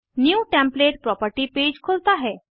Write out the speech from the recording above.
new template property page खुलता है